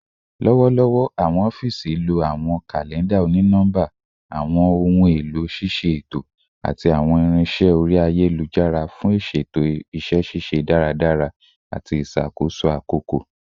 Lọwọlọwọ, awọn ọfiisi lo awọn kalẹnda oni-nọmba, awọn ohun elo ṣiṣe eto, ati awọn irinṣẹ ori ayelujara fun iṣeto iṣẹ ṣiṣe daradara ati iṣakoso akoko